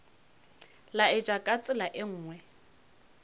laetša ka tsela ye nngwe